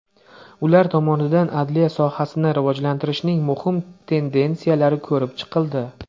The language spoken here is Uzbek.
Ular tomonidan adliya sohasini rivojlantirishning muhim tendensiyalari ko‘rib chiqildi.